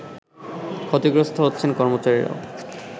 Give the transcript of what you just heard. ক্ষতিগ্রস্ত হচ্ছেন কর্মচারিরাও